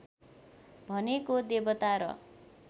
भनेको देवता र